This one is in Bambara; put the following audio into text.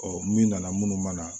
min nana minnu ma na